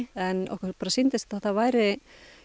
en okkur bara sýndist að það væri